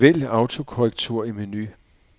Vælg autokorrektur i menu.